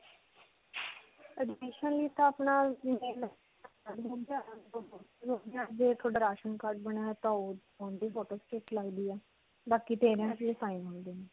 admission ਲਈ ਤਾਂ ਆਪਣਾ ਜੇ ਤੁਹਾਡਾ ਰਾਸ਼ਨ card ਬਣਿਆ ਹੈ ਤੇ ਉਸਦੀ photoshoot ਲਗਦੀ ਹੈ. ਬਾਕੀ sign ਹੁੰਦੇ ਨੇ.